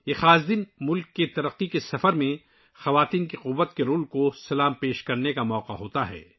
یہ خاص دن ، ملک کی ترقی کے سفر میں ناری شکتی کے تعاون کو سلام کرنے کا موقع ہے